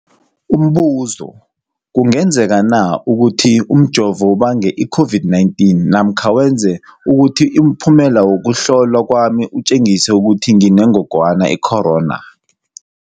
Umbuzo, kungenzekana ukuthi umjovo ubange i-COVID-19 namkha wenze ukuthi umphumela wokuhlolwa kwami utjengise ukuthi nginengogwana i-corona?